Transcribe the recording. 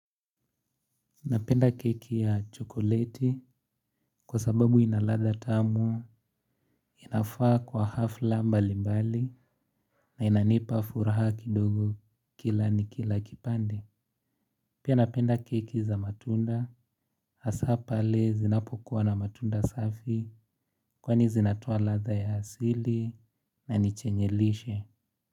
Napenda keki ya chokoleti kwa sababu inaladha tamu inafaa kwa hafla mbali mbali na inanipa furaha kidogo kila nikila kipande. Pia napenda keki za matunda hasa pale zinapokuwa na matunda safi kwani zinatoa ladha ya asili na nichenye lishe.